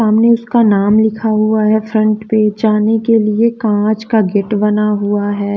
सामने उसका नाम लिखा हुआ है फ्रंट पे जाने के लिए कांच का गेट बना हुआ है।